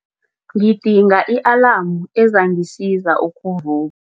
Ngidinga i-alamu ezangisiza ukuvu